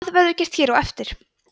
það verður gert hér á eftir